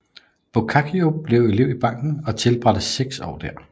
Boccaccio blev elev i banken og tilbragte seks år der